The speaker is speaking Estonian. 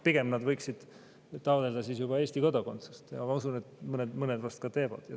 Pigem nad võiksid siis taotleda juba Eesti kodakondsust ja ma usun, et mõned vast seda ka teevad.